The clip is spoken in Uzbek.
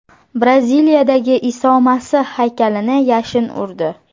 Braziliyadagi Iso Masih haykalini yashin urdi.